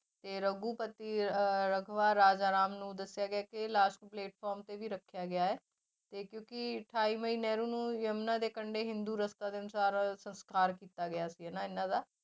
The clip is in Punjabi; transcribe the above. ਤੇ ਰਘੂਪਤੀ ਅਹ ਰਾਜਾ ਰਾਮ ਨੂੰ ਦੱਸਿਆ ਗਿਆ ਕਿ ਇਹ ਲਾਸ਼ ਨੂੰ ਪਲੇਟਫਾਰਮ ਤੇ ਵੀ ਰੱਖਿਆ ਗਿਆ ਹੈ ਤੇ ਕਿਉਂਕਿ ਅਠਾਈ ਮਈ ਨਹਿਰੂ ਨੂੰ ਜਮੁਨਾ ਦੇ ਕੰਡੇ ਹਿੰਦੂ ਦੇ ਅਨੁਸਾਰ ਸੰਸਕਾਰ ਕੀਤਾ ਗਿਆ ਸੀ ਹਨਾ ਇਹਨਾਂ ਦਾ,